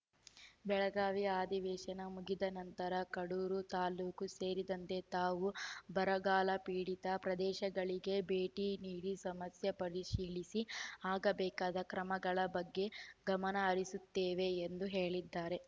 ಬೆಳಗಾವಿ ಅಧಿವೇಶನ ಮುಗಿದ ನಂತರ ಕಡೂರು ತಾಲೂಕು ಸೇರಿದಂತೆ ತಾವು ಬರಗಾಲಪೀಡಿತ ಪ್ರದೇಶಗಳಿಗೆ ಭೇಟಿ ನೀಡಿ ಸಮಸ್ಯೆ ಪರಿಶೀಲಿಸಿ ಆಗಬೇಕಾದ ಕ್ರಮಗಳ ಬಗ್ಗೆ ಗಮನಹರಿಸುತ್ತೇವೆ ಎಂದು ಹೇಳಿದರೆ